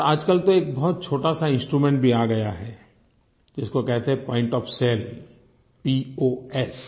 और आजकल तो एक बहुत छोटा सा इंस्ट्रूमेंट भी आ गया है जिसको कहते हैं पॉइंट ओएफ साले poएस